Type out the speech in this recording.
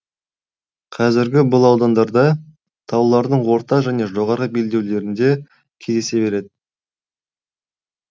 қазірде бұл аудандарда таулардың орта және жоғарғы белдеулерінде кездесе береді